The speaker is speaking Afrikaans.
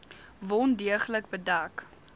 wond deeglik bedek